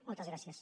moltes gràcies